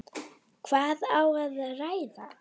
Hvað á að ræða?